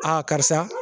karisa